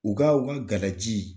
U ka u ka galaji